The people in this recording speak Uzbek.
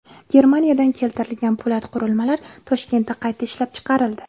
Germaniyadan keltirilgan po‘lat qurilmalar Toshkentda qayta ishlab chiqarildi.